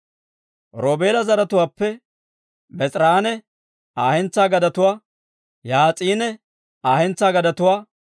Roobeela zaratuwaappe Bees'eranne Aa hentsaa gadetuwaa, Yahaas'anne Aa hentsaa gadetuwaa,